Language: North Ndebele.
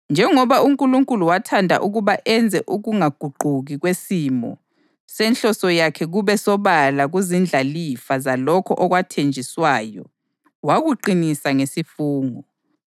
Njengoba uNkulunkulu wathanda ukuba enze ukungaguquki kwesimo senhloso yakhe kube sobala kuzindlalifa zalokho okwathenjiswayo, wakuqinisa ngesifungo.